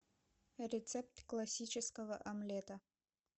рецепт классического омлета